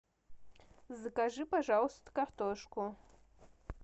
закажи пожалуйста картошку